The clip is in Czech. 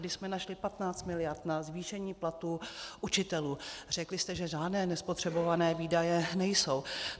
Když jsme našli 15 miliard na zvýšení platů učitelů, řekli jste, že žádné nespotřebované výdaje nejsou.